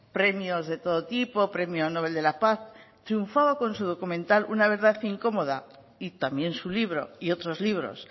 premios de todo tipo premio novel de la paz triunfaba con su documental una verdad incómoda y también su libro y otros libros